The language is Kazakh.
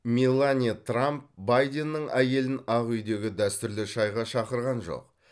меланья трамп байденнің әйелін ақ үйдегі дәстүрлі шайға шақырған жоқ